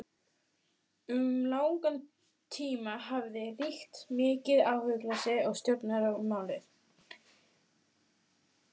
Um langan tíma hafði ríkt mikið áhugaleysi um Stjórnarskrármálið.